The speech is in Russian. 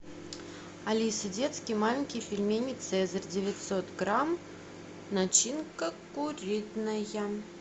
алиса детские маленькие пельмени цезарь девятьсот грамм начинка куриная